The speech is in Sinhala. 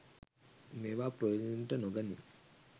මේවා ප්‍රයෝජනයට නොගනී.